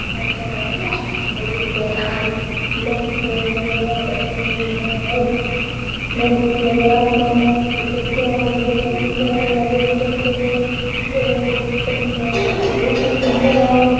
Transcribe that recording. और उस पे लाल पीलो कलर हुए है और सफ़ेद भी है और एक आसमान है और ये खिड़कियां है बहुत सुन्दर है और उधर एक घूमचकर भी है बहुत ही सुन्दर है और --